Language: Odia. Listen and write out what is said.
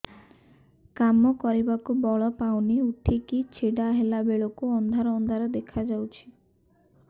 କାମ କରିବାକୁ ବଳ ପାଉନି ଉଠିକି ଛିଡା ହେଲା ବେଳକୁ ଅନ୍ଧାର ଅନ୍ଧାର ଦେଖା ଯାଉଛି